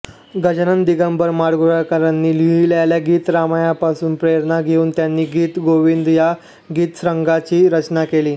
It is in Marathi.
गजानन दिगंबर माडगूळकरांनी लिहिलेल्या गीतरामायणापासून प्रेरणा घेऊन त्यांनी गीतगोविंद या गीतसंग्रहाची रचना केली